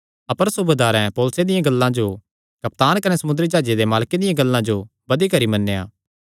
अपर सूबेदारें पौलुसे दियां गल्लां जो कप्तान कने समुंदरी जाह्जे दे मालके दियां गल्लां जो बधी करी मन्नेया